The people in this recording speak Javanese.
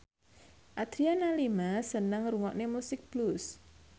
Adriana Lima seneng ngrungokne musik blues